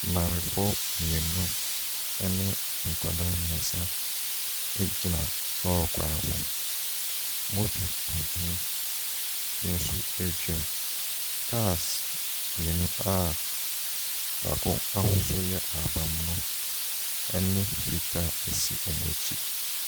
Maamefoɔ mmienu ne nkwadaa mmeɛnsa gyina lɔre kwan ho. Moto tuntum bi nso retwam. Cars mmienu a baako ahosuo yɛ ahaban mono ne fitaa si wɔn akyi.